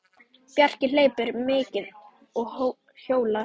Bjarki hleypur mikið og hjólar.